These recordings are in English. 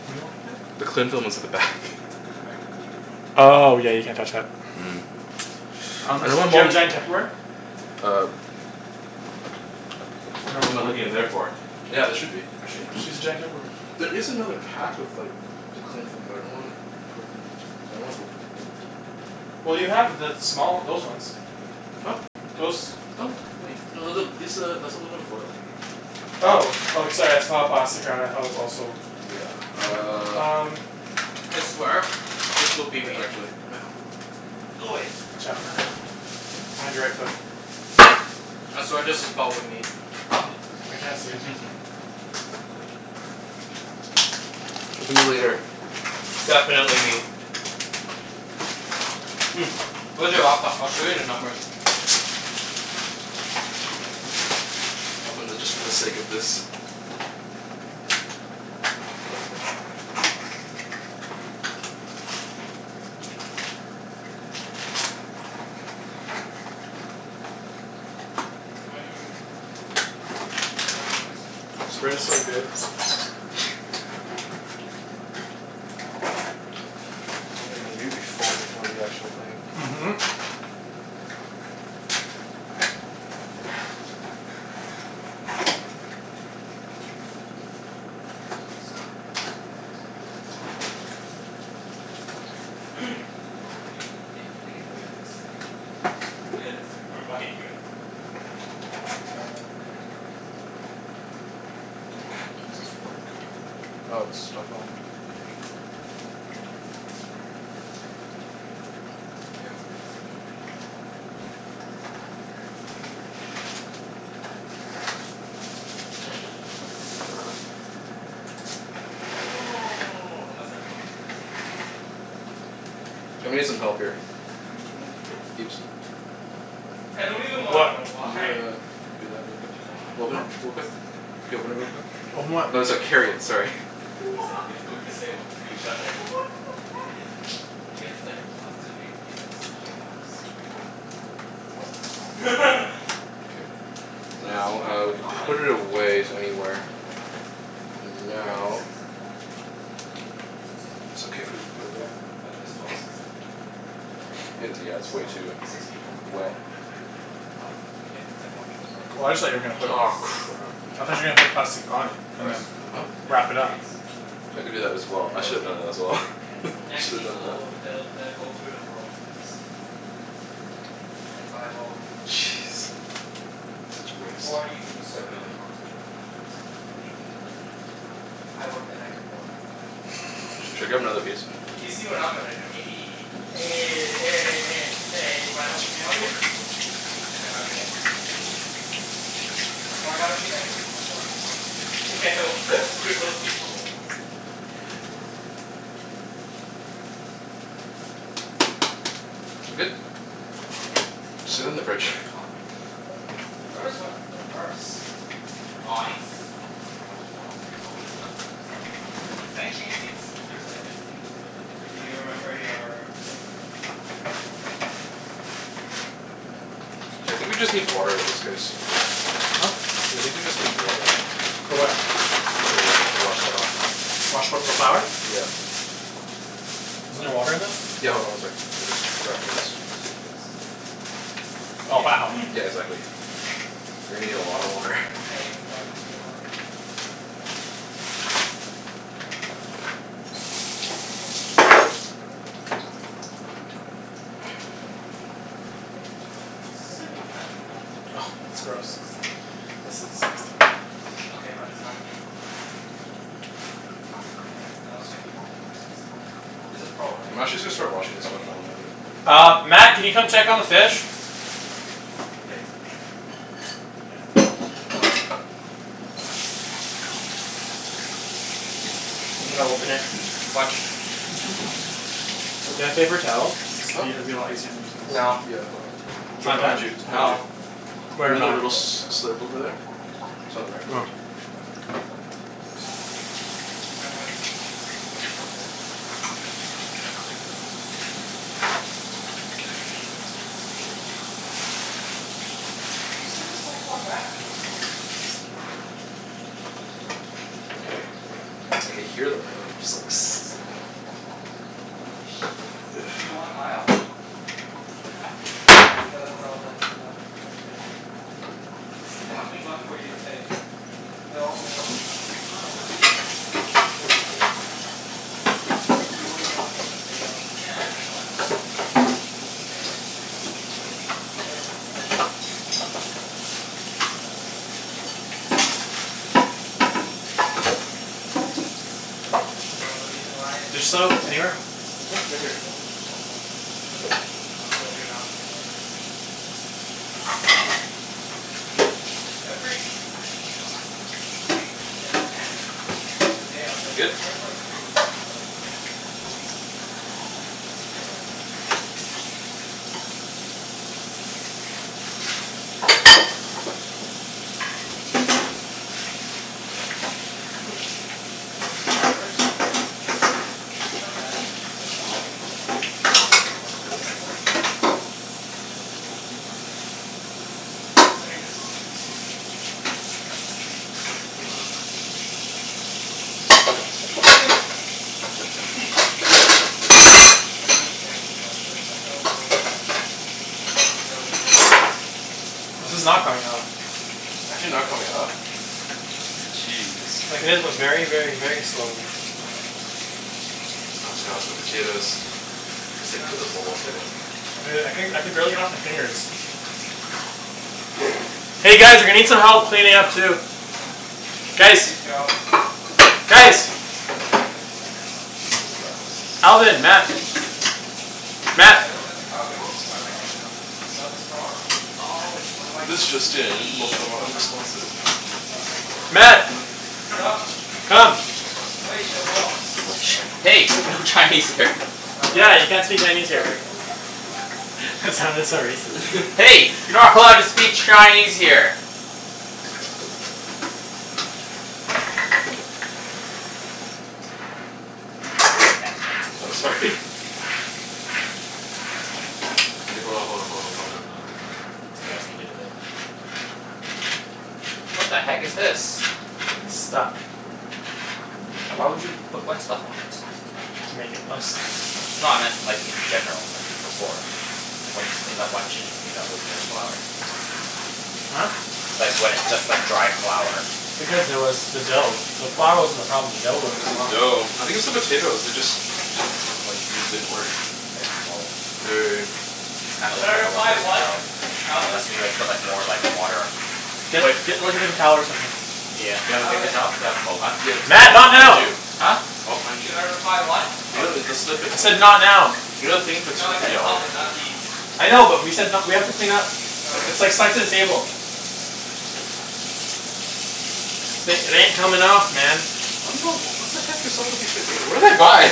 What do you want me to do? The cling What'd film you is get at from the back. cocoa? Mango green tea. Oh, yeah, you can't touch that. Mm. Um I do don't want you have mom giant Tupperware? Uh Ap- ab- what am I looking in there for? Yeah, there should be, actually in Just use a here. giant Tupperware. There is another pack of like the cling film, but I don't want to put it in. I don't wanna open it yet. Well, you have the small, those ones. Huh? Those. Oh, wait. No, th- th- this a, that's aluminum foil. Oh. Oh, sorry. I just saw the plastic around it and thought it was also Yeah, Hmm, hmm, uh um I swear this will be Here me. actually. Mat, hold on Go away. Watch out. Behind your right foot. I swear this is pot with me. I can't see it, so Talk to me later. Definitely me. Mm, where's your laptop? I'll show you the numbers. It's right there. Open the, just for the sake of this. I'll take your wallet. Thank you very much. Might have improved. Cuz the numbers keep This frigging bread is so changing good. every day. you'll be full before the actual thing. Mhm. Isn't this copyright? Oh, that's your password. There's no sound from it so I doubt it's copyright. Is there a video? Any e- can they get footage of this? Is it gonna you? Internal affairs, bro. Does this work? Oh, it's stuck on. You have a message from Janelle. Yeah. You can click it. She cute? It's literally us just saying, "What?" to each other. Can you say, "What?" to her? No, no no no no no no no, don't mess it up, don't mess it up. Just say, "What?" Just say normal, "What?" K, thanks. Ja- I'm gonna need some help here. Ibs? I don't even wanna What? know Can you why. uh, do that real It's quick? been going on for Open it Hmm? like, two real months. quick. Can you open it real quick? Open what? No, I so- don't even carry talk it, to her. sorry. We Why? say we say, "What?" to each What other. the heck? She hasn't said it for the last two days because she had finals. What? K. So this is Now, my uh, flight. we can Ah, it put it improved a little. away s- anywhere. Zero? And Minus now six in the back. Oh. So six people b- It's okay if we overbooked? put it Yep. over But there's twelve seats at the front. Available? It is, Yep. yeah, it's way So, too six people will get wet. bumped. Up, ah Up. If everyone shows up. Well, I just thought you were gonna put Nice. Aw, it crap. How I did thought they you were gonna determine put that? plastic on it and First, then who puts Huh? bid wrap it up. upgrades. I could do Okay, that as so well. yeah I Those should have done obv- that people. as well. So, yeah, that's probably Next Should have done people that. w- they'll they'll go through the loyalty list. Mm, so not me. And by loyalty. Jeez. Such a waste. Or you can usurp them and talk to the gate agents. Eh, you'll be like, "Any any upgrades" I work the night before I fly out. Should I grab another piece? You'll be You see like, what I'm "Eh" gonna do. Eh Eh, Eh, any eh, eh, chance, eh, any you mind helping chance? me out here? Nah, if I got a seat I'd give it to my dad. If I got a seat I'd give it to myself cuz fuck these free. Yeah, well, screw those people. Za- good? There's sixty six Just sit it available in for the me? fridge. The fuck? Yours went reverse. No ice. I'm gonna have a lot of space. I hope there's no one sitting beside me. Can I change seats if there's like empty, if th- if there's Do empty you remember your thing? Yeah, it's on my Gmail. Uh, here, right? I think Just we yeah, just just search need Air water at this Canada. case. Huh? I think we just need water. For what? Ah s- I To think it w- should be the to wash second that one. off. Wash what? The Yeah. Why do flour? you have Yeah. two? Cuz I bought my dad's. Oh, Isn't there you bought water 'em in this? separately? Yeah, hold Yeah. on one sec. I'm just wrapping this. Just make sure this is you. Oh, Yeah, I changed my wow. name. Yeah, I changed exactly. my name to my middle name. You're gonna need a lot of water. I can't even find your name on it. It was there. You scrolled right past it. Oh, okay. Is this the new MacBook, or the old one? Oh, it's It's the gross. second newest. This is disgusting. Okay, but it's not the It's not the USBC one. Yeah, I was thinking is it a USBC one. Is a Pro, right? I'm actually just Yeah. gonna start washing this Thirteen stuff while inch? I'm at it. Yeah. Uh, Mat, can you come check on the fish? Yeah, see you later. Yep. Okay. I'm gonna open it. Watch. Do you have Ooh. paper towel? Huh? Be, it'd be a lot easier than using this. No. Yeah, hold on. It's It's right not behind you. done? It's behind you. No. Right in the little s- slip over there. Beside the microwave. Oh. Do you mind if I just unplug this Yeah, sure. for a bit? Okay. Just charging my charger. My brother stole my actual charger. Why are you sitting so far back? I dunno, dude. I just picked it. I can hear the oil just like sizzling. Sh- you want aisle? I don't mind. No, that's all that's left to pick. There's nothing left for you to pick. They're all middle seats. No no, but like, if there's a s- if there's like a whole row open in the back, can I just take it? You wouldn't know until the day of. Yeah, I I know, I know, I know. I'm just saying like if it's completely empty? You could. Keep scrolling down. No, that's Oh, it. wait, that's it? Oh wait, it's pretty booked over, it's pretty booked, then. Hey, they said there's sixty six seats available? No, the reason why it's There's sixty soap six, the anywhere? front f- six Hmm? or Right here. seven rows is blocked off for preferred. So, you're Oh. not preferred. But those seats aren't free? They're free. Can I move up if there's no one sitting Yes, you there? can. All right. The day of. But You your good? return flight's pretty Oh wait, no, that's my return flight. Uh, your return flight I think I'm leaving, can we can you double check if I'm leaving on the sixth? Pretty sure I'm leaving on the sixth. Yeah. Okay. Your return flight's not bad. But considering we're two, still like a whole month away almost? Yeah, but people usually buy, actually, nah. Considering this is two weeks away and this is a month away, that's a lot worse. Damn, I can't wait to move up with my dad. Be like "Yeah, wanna go up?" And then there's me and Chancey's flight. It's like the hell is going on? For your return flight? No, the way there. Like, This what is not the f- coming off. Is Overbooked it not aff. coming off? Jeez. Like, it is, but very, very, very slowly. All right, let's see. Oh god, the potatoes. They're sticking Time to to the bowl, stalk too. everyone who's used my You know what? I codes. couldn- I could barely get it off my fingers. Y- oh, you can do that? Yeah. Hey guys, we need some help cleaning up, too. That's Ah Guys! Chancey's job. That's Chancey Guys! Yeah, yeah. Who flew to Calgary? Alvin. For Mat. chasing summers? Wait, Mat! the- there's a Calgary one? YYZ is Calgary, isn't it? No, that's Toronto. Oh, This just in. YYC, not YYZ. Mat! Sup? Come! Hey! No Chinese here. Oh, right. Yeah, you can't say Chinese here. Sorry. That sounded so racist. Hey! You're not allowed to speak Chinese here! Thanks, No, Chancey. sorry. K, hold on, hold on, hold on, calm down, calm down, calm down. It's okay, I just need it a bit. What the heck is this? It's stuck. Why would you put wet stuff on it? To make it less stuck. No, I meant like, in general. Like, before. Like, when you just clean up, why didn't you just clean up with n- flour? Huh? Like, when it's just like dry flour. Because there was the dough. The flour wasn't the problem. The dough wouldn't It's come the off. dough. I think it's the potatoes. They just didn't, like, these didn't work. Okay, well. They're already in. This kinda Should I looks like a one reply, person "What?" job. Alvin? Unless we like, put like, more like, water Get Wait get like a paper towel or something. Yeah, do you have a paper Alvin? towel? Yeah, the Mat, towel's not behind now! you. Huh? All behind Should you. I reply, "What?" You know, Oh. it's the slip it I said not now. You know the thing in No, I between, yeah, said you're Alvin, right not there. Ibs. I know, but we said n- we have to clean up. Okay. It's like set the table. Uh Th- it ain't coming off, man. I don't know. What the heck is up with these potato? What did I buy?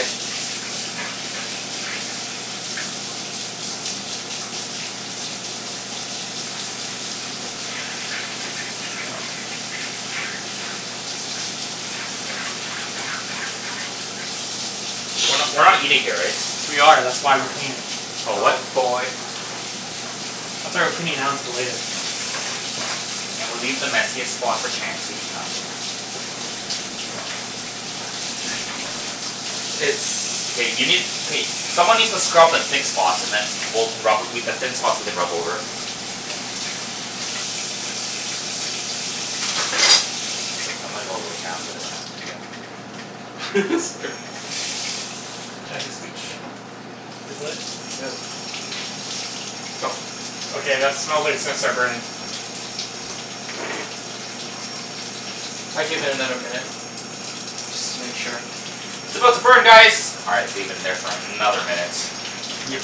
We're not Shee- we're not eating here, right? We are. That's Yeah, you why we're are. cleaning. Oh, what? Oh boy. That's why we're cleaning now instead of later. Can we leave the messiest spot for Chancey? No, I'm kidding. It's K, you need, k someone needs to scrub the thick spots and then we'll can rub, we, the thin spots we can rub over. K, I'm gonna go really for this one. Sorry. Chancey, scooch your butt. Yeah. No. Okay, that smells like it's gonna start burning. I'd give it another minute. Just to make sure. It's about to burn guys! All right, let's leave it in there for another minute. Yep.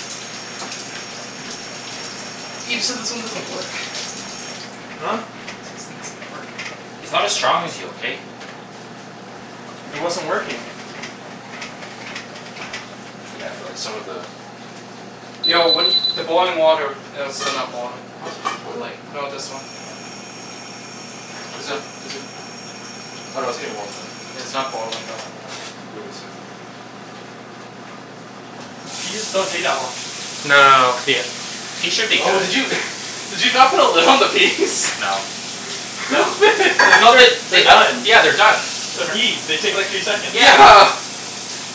Ibs, you said this one doesn't work. Huh? Said this thing doesn't work. He's not as strong as you, okay? It wasn't working. Yeah, for like, some of the Yo, what do y- the boiling water it is still not boiling. What? Boiling. No, this one. Is it is it Oh no, it's getting warm, though. Yeah, it's not boiling though. Give it a sec. Peas don't take that long. No no no, the Peas should be Oh, did good. you did you not put a lid on the peas? No. The, I thought that they're they uh, done. yeah, they're done. They're They're tr- peas. They take like three seconds. Yeah. Yeah.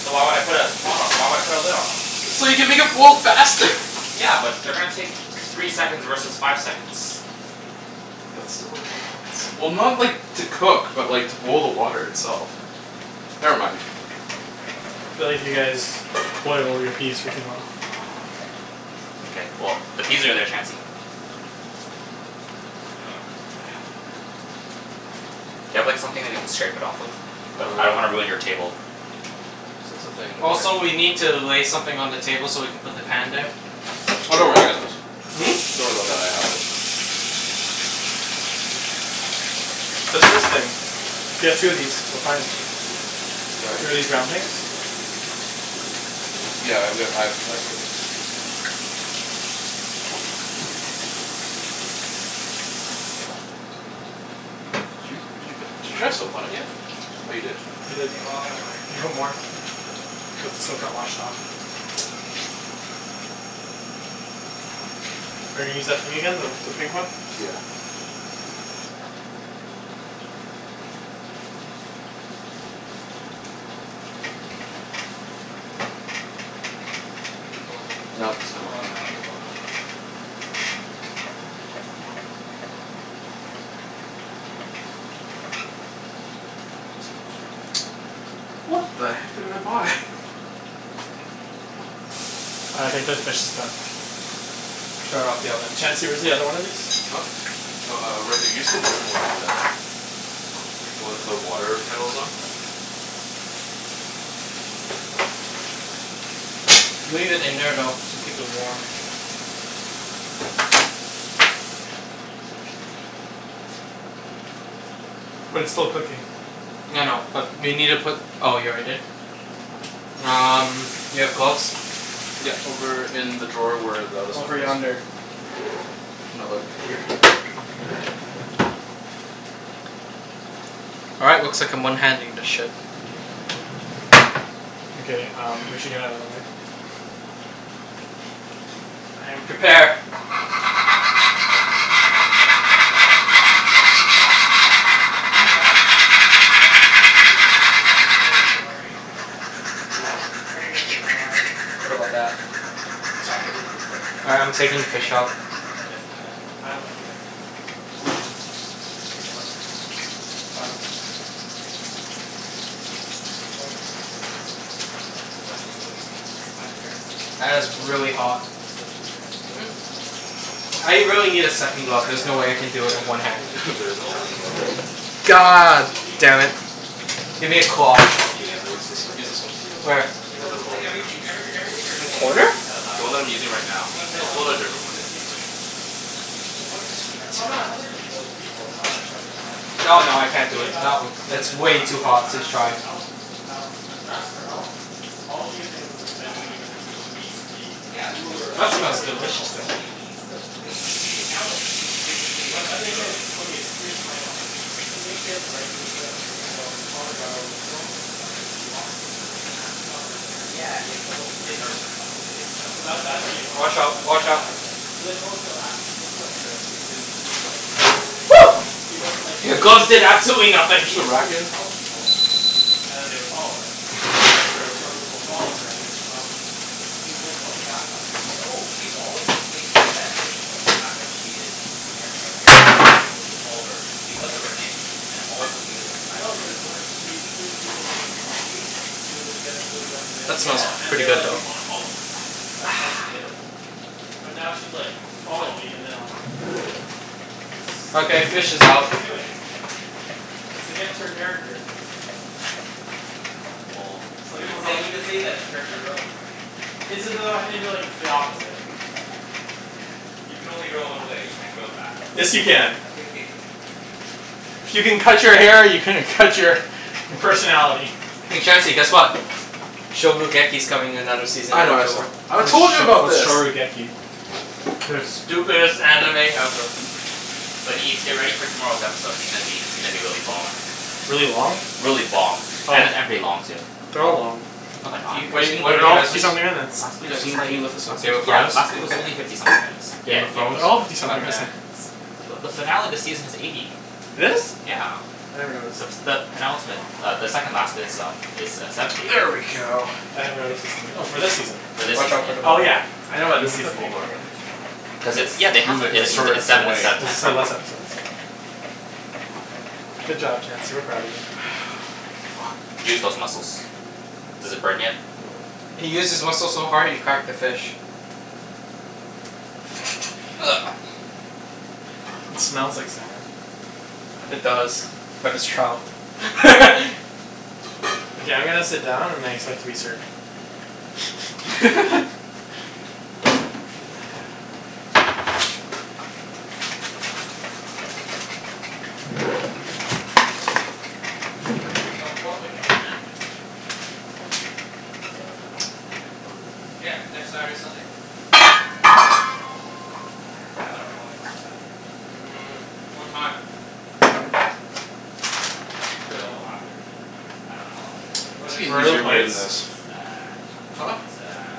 So why would I put a pot o- why would I put a lid on them? So you can make it boil faster. Yeah, but they're gonna take three seconds versus five seconds. That's still a difference. Well, not like, to cook, but like to boil the water itself. Never mind. Feel like you guys boil all your peas for too long. K, well, the peas are there, Chancey. Oh god, help, man. Do you have like, something that you can scrape it off with? But I don't wanna Uh ruin your table. See, that's the thing. Also, We can't we need to lay something on the table so we can put the pan there. Oh, don't worry. I True. got those. Hmm? Don't worry about that. I have it. There's this thing. If you have two of these, we're fine. Sorry? Two of these round things? Yeah, I re- I've Did you did you put, did you try soap on it yet? Oh, you did? I did. Can you log outta my You account have more. please? Yeah, sure. Yeah. Cuz the soap got washed off. Are you gonna use that thing again? The the pink one? Yeah. This one, You can too? close it. No, it's not It'll working. automatically log out. What the heck did I buy? I think this fish is done. Turn off the oven. Chancey, where's the other one of these? Huh? Oh, uh, right here. Use the wooden one over there. The one the water kettle's on. Leave it in there, though, to keep it warm. But it's still cooking. I know. But you need to put, oh, you already did? Um, you have gloves? Yeah, over in the drawer where the other stuff Over was. yonder. No, like here. All right, looks like I'm one-handing this ship. Okay um, we should get outta the way. Prepare. Cha- I'm kinda rereading the Game of Thrones spoilers. Can you not? No, I'm I'm reading them to myself. Oh, Don't okay. worry. Like, I'm not reading them to you. I thought you were gonna read them out loud. What about that? It's What's up? actually a really good story this All season. right, I'm taking the fish out. But it's kinda I don't like new season. It's about to get better. I don't like her right now. Why? Cuz she's she's going away from her character. Like, what i- what do you think defines her character? That is She's supposed to be like really John hot. Snow. She's supposed to be very good Mhm. and humble, and stuff. I really need a Y- second you glove. There's understand no like way I her can do it with scenario one right? hand. Like, There there's She isn't no a has no way second glove. scenario. No, cuz God she's being a damn it. hypocrite. Give me a cloth. She's being Yeah, a I use constant this w- use hypocrite this but one. she wasn't like Where? this when she The was one Becau- that I'm in like, holding right now. everythi- every everything you're In saying is just corner? based out of last The one that I'm episode. using right now. No, it's based I'll Because off she pull out a of killed wh- those different this one. this people. season. It's based off this season. But what has she done Oh this no, it's nothing to do season? with those people. No, I don't care No, no, I'm I can't do talking it. Not about w- When it's uh way John, too when John hot to asked her to try. help hel- when John asks for help all she could think of was like, bend the knee, bend the My knee, cuz she god. needs to be Yeah. ruler of the That seven smells Because, no no no, delicious kingdoms. but though. she needs to maintai- Okay, now that she is physically in But the thing Westeros is, okay, here's my problem. Okay. She thinks she has the right to the throne Yeah. even though her father got overthrown from the throne. So she lost it. She doesn't ha- she's not the rightful heir Yeah, anymore. yeah, well, in her mind obviously it kinda So, works a that little that's already differently. gone. Watch So out. that, there's Watch that out. right there. But then also, after she came to Westeros she's been being like Woo! she doesn't like, Your like in the gloves did East absolutely in the nothing! Push the East, she would rack just in. help people. And then they would follow her. Now in Westeros, she wants people to follow her and then she'll help them. She's like, going back on who she is. No. She's always maintained that image of the fact that she is Daenerys Targaryen, and that people should follow her because of her name, and also because of the fact that No, she's a cuz when ruler. she freed the people in in the East she was like, you guys can go do whatever they That you smells Yeah. want. And pretty they're good like, "We though. wanna follow you." That's Ah. how she did it. But now she's like "Follow Fuck. me and then I'll help you." It's s- what Okay, she's doing. fish is It's what out. she's doing. It's against her character. Well, Some we people could call say, that we could say that it's character growth. Is it though? I think that it's the opposite. You can only grow one way. You can't grow backwards. Yes, you can. No, you can't. If you can cut your hair you can cut your personality. Hey Chancey, guess what? coming another season I in know, I saw. October. I told you about this! The stupidest anime ever. But Ibs, get ready for tomorrow's episode. It's gonna be, it's gonna be really bomb. Really long? Really bomb. Oh And a yeah. and pretty long, too. They're A- all long. No they're not. Can you, What guys, a- can you what are lift They're you that all guys up fifty please? something minutes. Last week's Guys, can was you can like, you lift this up? last Game of week's, yeah, Thrones? last week was only fifty something minutes. Yeah, Game of Game of Thrones? They're Game all of Thrones. fifty God something damn. missants. But the finale of the season is eighty. It is? Yeah. I never noticed. The s- the penultimate uh, the second last is um is uh, seventy. There we go. I never noticed her singing. Oh, for this season? For this Watch season, out for the yeah. Oh bowl. yeah, I know Can about you this move that season bowl, being by the longer. way? Cuz Cuz it's it's, yeah, they have, Move it, it's it's like, it's move sev- shorter it it's seven away. instead Cuz of ten. it's their last episode, Yeah. so Good job, Chancey. We're proud of you. Fuck. Use those muscles. Does it burn yet? No. He used his muscles so hard he cracked the fish. It smells like salmon. It No. does. But it's trout. Okay, I'm gonna sit down and I expect to be served. Yo, Portland trip, man. When? The s- the weekend before we leave? Yeah. Next Saturday, Sunday. Oh, I don't know, man. I k- I have an appointment on the Saturday. Mm. What time? Ten fifteen in the morning. Unless we Till? go after. I dunno how long it's gonna take. There What must is be it, an Where are though? the easier way than plates? this. It's uh Huh? it's uh